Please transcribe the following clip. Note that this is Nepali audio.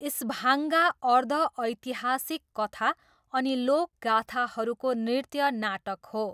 स्भाङ्गा अर्ध ऐतिहासिक कथा अनि लोकगाथाहरूको नृत्य नाटक हो।